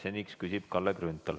Seniks küsib Kalle Grünthal.